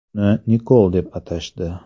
Uni Nikol deb atashdi.